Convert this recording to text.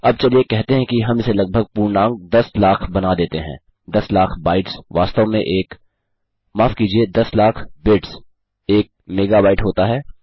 अब चलिए कहते हैं हम इसे लगभग पूर्णांक दस लाख बना देते हैं दस लाख बाइट्स वास्तव में एक माफ़ कीजिये दस लाख बिट्स एक मेगाबाईट होता है